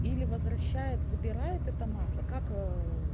или возвращает забирает это масло как ээ